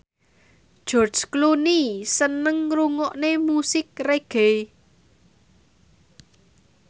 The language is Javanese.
George Clooney seneng ngrungokne musik reggae